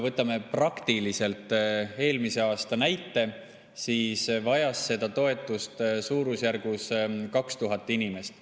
Võtame praktiliselt eelmise aasta näite, kui seda toetust vajas suurusjärgus 2000 inimest.